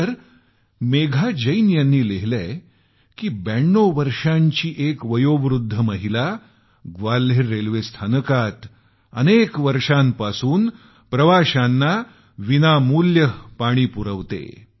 तर मेघा जैन यांनी लिहिलं आहे की 92 वर्षांची एक वयोवृद्ध महिला ग्वाल्हेर रेल्वे स्थानकात प्रवाशांना मोफत पाणी पुरवत असते